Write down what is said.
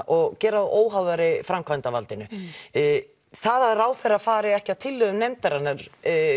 og gera þá óháðari framkvæmdarvaldinu það að ráðherra fari ekki að tillögum nefndarinnar